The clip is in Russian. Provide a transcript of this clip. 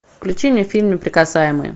включи мне фильм неприкасаемые